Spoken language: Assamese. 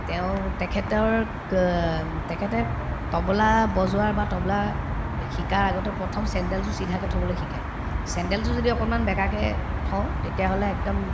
তেওঁ তেখেতৰ ক উম তেখেতে তবলা বজোৱাৰ বা তবলাৰ শিকাৰ আগতে প্ৰথম চেণ্ডেল জোৰ চিধাকে থবলৈ শিকাই চেণ্ডেলজোৰ যদি অকনমান বেকাকে থওঁ তেতিয়াহলে একদম